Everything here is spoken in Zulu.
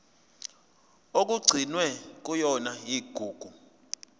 okugcinwe kuyona igugu